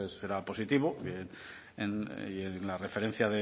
pues será positivo y en la referencia